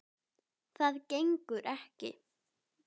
Það gengur ekki.